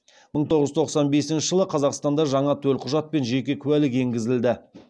мың тоғыз жүз тоқсан бесінші жылы қазақстанда жаңа төлқұжат пен жеке куәлік енгізілді